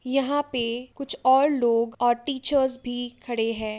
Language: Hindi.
यहाँ पे कुछ और लोग और टीचर्स भी खड़े हैं ।